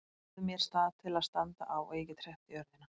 Fáðu mér stað til að standa á og ég get hreyft jörðina!